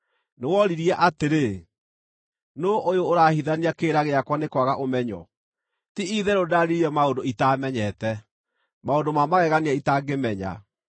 Nĩworirie atĩrĩ, ‘Nũũ ũyũ ũrahithania kĩrĩra gĩakwa nĩ kwaga ũmenyo?’ Ti-itherũ ndaaririe maũndũ itaamenyete, maũndũ ma magegania itangĩmenya.